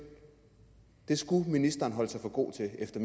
det skulle ministeren holde sig for god til efter